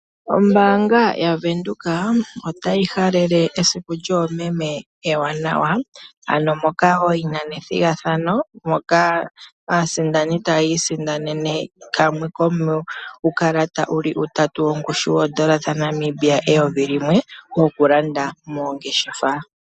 Ombaanga ya Windhoek otayi halele esiku lyoomeme ewanawa moka yina ethigathano moka aasindani taya isindanene kamwe komuukalata wuli utatu kongushu yoondola dhaNamibia eyovi limwe wokulanda moongeshefa.